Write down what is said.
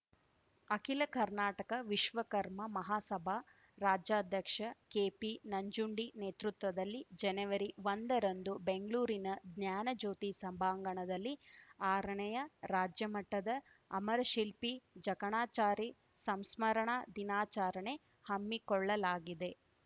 ಅಖಿಲ ಕರ್ನಾಟಕ ವಿಶ್ವಕರ್ಮ ಮಹಾಸಭಾ ರಾಜ್ಯಾಧ್ಯಕ್ಷ ಕೆಪಿ ನಂಜುಂಡಿ ನೇತೃತ್ವದಲ್ಲಿ ಜನವರಿ ಒಂದರಂದು ಬೆಂಗ್ಳೂರಿನ ಜ್ಞಾನಜ್ಯೋತಿ ಸಭಾಂಗಣದಲ್ಲಿ ಆರನೇಯ ರಾಜ್ಯಮಟ್ಟದ ಅಮರಶಿಲ್ಪಿ ಜಕಣಾಚಾರಿ ಸಂಸ್ಮರಣಾ ದಿನಾಚಾರಣೆ ಹಮ್ಮಿಕೊಳ್ಳಲಾಗಿದೆ